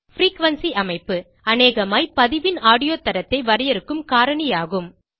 frequency அமைப்பு அநேகமாய் பதிவின் ஆடியோ தரத்தை வரையறுக்கும் காரணி ஆகும்